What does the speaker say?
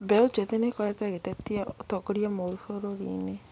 Mbeũ njĩthĩ nĩĩkoretwo ĩgĩtetia ũtongoria mũũru bũrũrinĩ